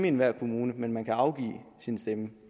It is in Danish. enhver kommune men man kan afgive sin stemme